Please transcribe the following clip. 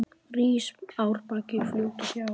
Rís árbakki fljóti hjá.